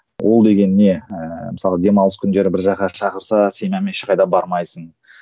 ол деген не ыыы мысалы демалыс күндері бір жаққа шақырса семьяңмен ешқайда бармайсың